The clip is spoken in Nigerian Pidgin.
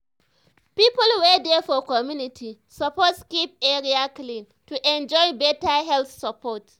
people wey dey for community suppose keep area clean to enjoy better health support.